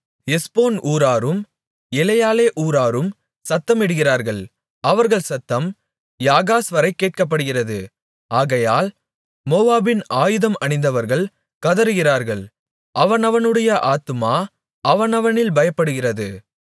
எஸ்போன் ஊராரும் எலெயாலெ ஊராரும் சத்தமிடுகிறார்கள் அவர்கள் சத்தம் யாகாஸ்வரை கேட்கப்படுகிறது ஆகையால் மோவாபின் ஆயுதம் அணிந்தவர்கள் கதறுகிறார்கள் அவனவனுடைய ஆத்துமா அவனவனில் பயப்படுகிறது